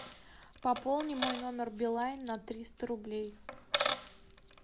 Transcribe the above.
пополни мой номер билайн на триста рублей